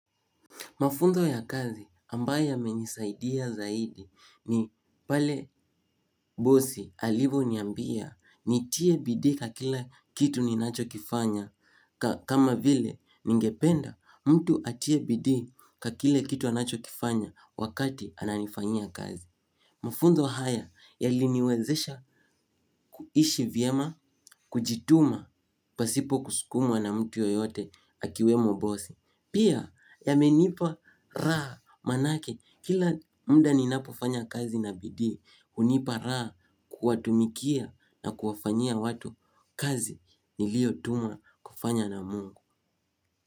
Mafunzo ya kazi ambayo yamenisaidia zaidi ni pale bosi alivyoniambia nitie bidii kwa kila kitu ni nachokifanya. Kama vile ningependa mtu atie bidii kwa kile kitu anachokifanya wakati ananifanya kazi. Mafunzo haya yaliniwezesha kuishi vyema kujituma pasipo kusukumwa na mtu yoyote akiwemo bosi. Pia yamenipa raha manake kila mda ninapofanya kazi na bidii hunipa raha kuwatumikia na kuwafanyia watu kazi niliotumwa kufanya na Mungu.